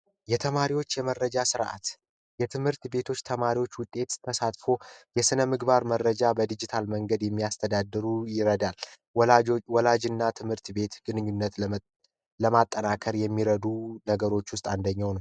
የተማሪዎች የመረጃ ስርዓት የትምህርት ቤቶች ተማሪዎች ውጤት ተሳትፎ የስነ ምግባር መረጃ በዲጂታል መንገድ የሚያስተዳድሩ ይረዳል ወላጆች ወላጅ እና ትምህርት ቤት ግንኙነት ለማጠናከር የሚረዱ ነገሮች ውስጥ አንደኛው ነው